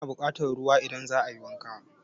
Ana buƙatan ruwa idan za a yi wanka.